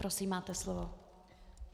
Prosím, máte slovo.